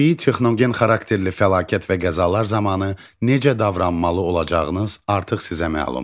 Təbii texnogen xarakterli fəlakət və qəzalar zamanı necə davranmalı olacağınız artıq sizə məlumdur.